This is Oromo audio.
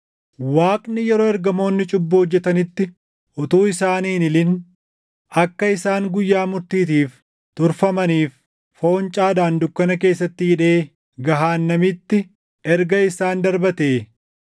Waaqni yeroo ergamoonni cubbuu hojjetanitti utuu isaanii hin hilin akka isaan guyyaa murtiitiif turfamaniif foncaadhaan dukkana keessatti hidhee gahaannamitti erga isaan darbatee,